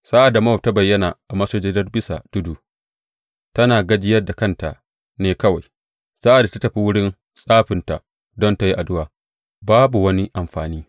Sa’ad Mowab ta bayyana a masujadar bisa tudu, tana gajiyar da kanta ne kawai; sa’ad da ta tafi wurin tsafinta don tă yi addu’a, babu wani amfani.